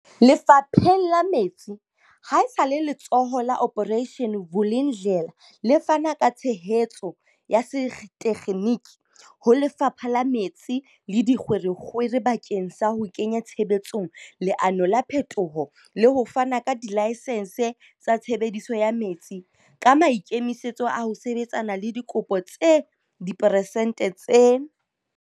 Lefapheng la metsi, ha esale Letsholo la Operation Vulindlela le fana ka tshehetso ya setekgeniki ho Lefapha la Metsi le Dikgwerekgwere bakeng sa ho kenya tshebetsong leano la phetoho la ho fana ka dilaesense tsa tshebediso ya metsi, ka maikemisetso a ho sebetsana le dikopo tse diperesente tse.